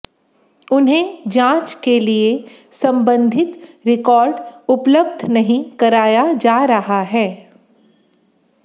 उन्हें जांच के लिए संबंधित रिकॉर्ड उपलब्ध नहीं कराया जा रहा है